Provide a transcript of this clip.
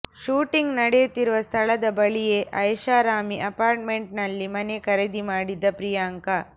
shooting ನಡೆಯುತ್ತಿರುವ ಸ್ಥಳದ ಬಳಿಯೇ ಐಷಾರಾಮಿ ಅಪಾರ್ಟ್ಮೆಂಟ್ ನಲ್ಲಿ ಮನೆ ಖರೀದಿಮಾಡಿದ್ದ ಪ್ರಿಯಾಂಕ